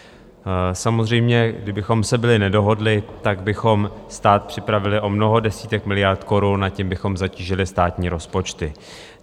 Samozřejmě, kdybychom se byli nedohodli, tak bychom stát připravili o mnoho desítek miliard korun a tím bychom zatížili státní rozpočty.